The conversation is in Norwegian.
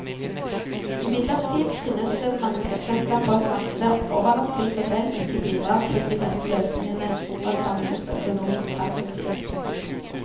Imidlertid finnes det mange eksempler på at markedet overlatt til seg selv ikke bidrar til de beste løsningene fra et samfunnsøkonomisk perspektiv.